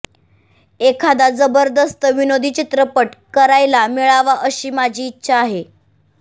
एखादा जबरदस्त विनोदी चित्रपट करायला मिळावा अशी माझी इच्छा आहे